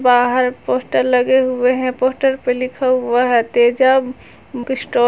बाहर पोस्टर लगे हुए हैं पोस्टर पे लिखा हुआ है तेजा ।